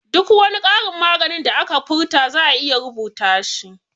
Duk wani karin maganan da aka furta za'a iya rubuta shi